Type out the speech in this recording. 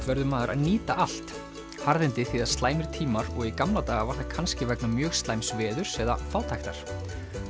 verður maður að nýta allt harðindi þýða slæmir tímar og í gamla daga var það kannski vegna mjög slæms veðurs eða fátæktar